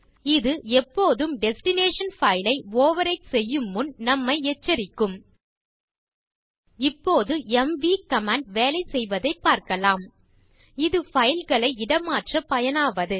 இது எப்போதும் destination file ஐ ஓவர்விரைட் செய்யும் முன் நம்மை எச்சரிக்கும் இப்போது எம்வி கமாண்ட் வேலை செய்வதைப் பார்க்கலாம் இது பைல் களை இடமாற்ற பயனாவது